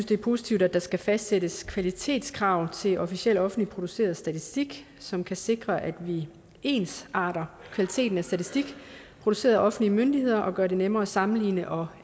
det er positivt at der skal fastsættes kvalitetskrav til officiel offentligt produceret statistik som kan sikre at vi ensarter kvaliteten af statistik produceret af offentlige myndigheder og som gør det nemmere at sammenligne og